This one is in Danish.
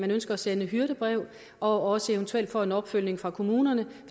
ønsker at sende et hyrdebrev og også eventuelt får en opfølgning fra kommunerne